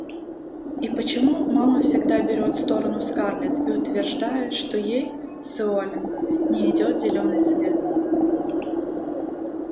и почему мама всегда берет сторону скарлетт и утверждает что ей сыолин не идёт зелёный цвет